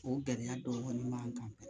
O gɛlɛya dɔw kɔni b'an kan